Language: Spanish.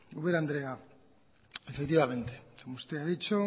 ubera andrea efectivamente como usted ha dicho